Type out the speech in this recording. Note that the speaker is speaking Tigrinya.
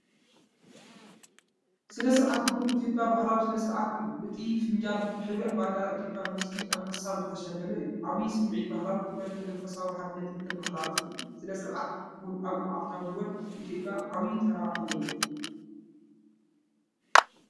ስነ-ስርዓት ቡን ኢትዮጵያ ባህላዊ ስነ-ስርዓት እዩ። እቲ ፊንጃል ብሕብሪ ባንዴራ ኢትዮጵያን ምስሊ ኣንበሳን ዝተሸለመ እዩ። ዓብይ ስምዒት ባህላዊ ክብረትን መንፈሳውነትን ሓድነትን ዘመሓላልፍ እዩ። ስነ-ስርዓት ቡን ኣብ መዓልታዊ ህይወት ኢትዮጵያ ዓብይ ተራ ኣለዎ።